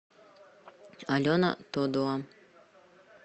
алена тодуа